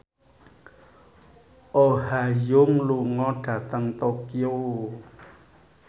Oh Ha Young lunga dhateng Tokyo